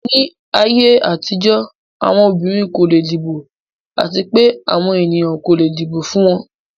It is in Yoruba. Ni ayé àtijọ́, àwọn obìnrin kò leè dìbò àti pé àwọn ènìyàn kò le dìbò fún wọn.